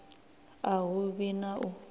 a hu vhi na u